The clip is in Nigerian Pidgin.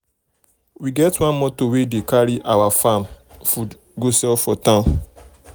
we get one motor wey dey carry our our farm food go sell for town.